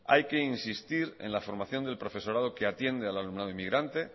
hay que insistir en la formación del profesorado que atiende al alumnado inmigrante